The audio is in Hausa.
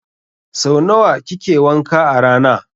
Sau nawa kike wanka a rana?